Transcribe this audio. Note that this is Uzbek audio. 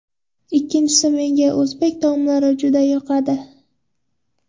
Ikkinchisi menga o‘zbek taomlari juda yoqadi.